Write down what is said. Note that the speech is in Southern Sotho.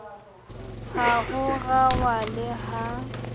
ha ho ralwa le ha